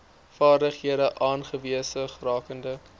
vaardighede aanwesig rakende